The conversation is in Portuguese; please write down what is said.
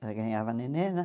Ela ganhava nenê, né?